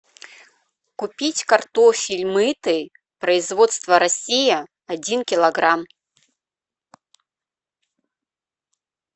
купить картофель мытый производство россия один килограмм